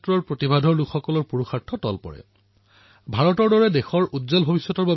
মহোদয় মন কী বাতৰ প্ৰতিটো খণ্ড গভীৰ অন্তৰ্দৃষ্টিৰে তথ্যৰে ধনাত্মক কাহিনীৰে সাধাৰণ লোকৰ ভাল কামৰ কথাৰে ভৰি আছে